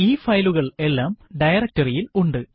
ഈ ഫയലുകൾ എല്ലാം ഡയറക്ടറി ഇൽ ഉണ്ട്